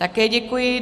Také děkuji.